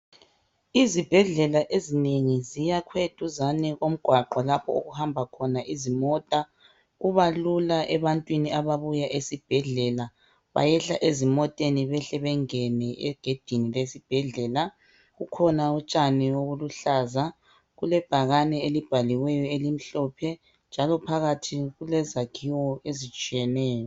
Izibhedlela ezinengi ziyakhwe eduzane lomgwaqo lapho okuhamba khona izimota. Kubalula ebantwini ababuya esibhedlela bayehla ezimoteni behle bengene egedini lesibhedlela. Kukhona utshani obuluhlaza kulebhakane elibhaliweyo elimhlophe njalo phakathi kulezakhiwo ezitshiyeneyo.